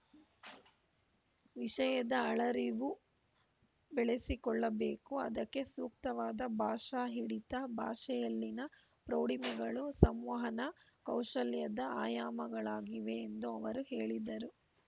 ವಿಷಯದ ಆಳರಿವು ಬೆಳೆಸಿಕೊಳ್ಳಬೇಕು ಅದಕ್ಕೆ ಸೂಕ್ತವಾದ ಭಾಷಾ ಹಿಡಿತ ಭಾಷೆಯಲ್ಲಿನ ಪ್ರೌಢಿಮೆಗಳು ಸಂವಹನ ಕೌಶಲ್ಯದ ಆಯಾಮಗಳಾಗಿವೆ ಎಂದು ಅವರು ಹೇಳಿದರು